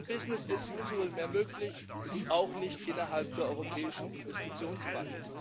Es ist kein business as usual mehr möglich, auch nicht innerhalb der Europäischen Investitionsbank.